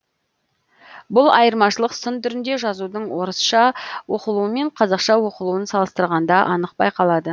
бұл айырмашылық сын түріндегі жазудың орысша оқылуы мен қазақша оқылуын салыстырғанда анық байқалады